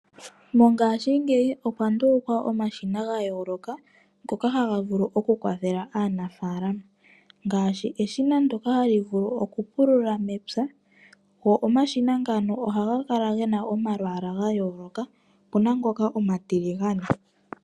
Mongashingeyi okwa ndulukwa omashina ga yooloka ngoka haga vulu okukwathela aanafaalama ngaashi eshina ndyoka hali vulu okupulula mepya, go omashina ngano ohaga kala ge na omalwaala ga yooloka. Opu na ngoka omatiligane.